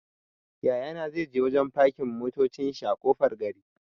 Yaya na zai je wajen fakin motacin shi a ƙofar gari.